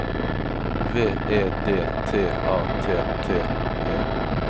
V E D T A T T E